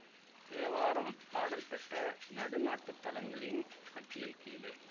தேவாரம் பாடல் பெற்ற நடுநாட்டு தலங்களின் பட்டியல் கீழே